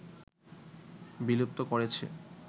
বিলুপ্ত করেছে